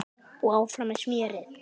Og áfram með smérið.